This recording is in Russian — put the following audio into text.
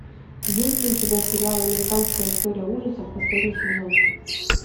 есть ли у тебя сериал американская история ужасов последний сезон